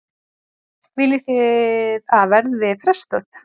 Viljið þið að verði frestað?